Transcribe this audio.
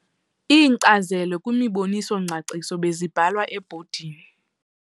Iinkcazelo kwimiboniso-ngcaciso bezibhalwa ezibhodini.